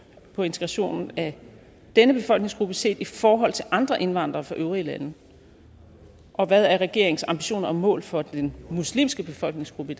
på integrationen af denne befolkningsgruppe set i forhold til andre indvandrere fra øvrige lande og hvad er regeringens ambitioner og mål for den muslimske befolkningsgruppe